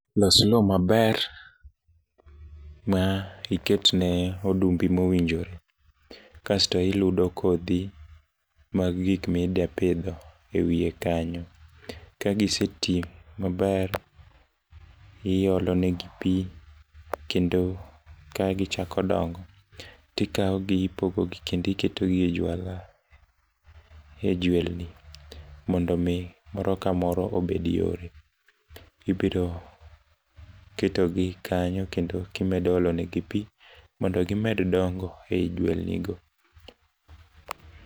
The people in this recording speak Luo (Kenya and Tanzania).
Los lowo maber ma iket ne odumbi mowinjore kasto iludo kodhi mag gik mida pidho ewiye kanyo. Ka gisetii maber iolo ne gi pii kendo ka gi chako dongo tikawo gi ipogo gi kendi keto gi e jwala e jwelni mondo mi moro ka moro obed yore. Ibiro keto gi kanyo kendo kimedo olo ne gi pii mondo gimed dongo ei jwelni go.